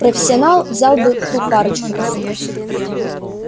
профессионал взял бы ту парочку за сутки